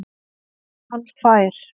Hann fær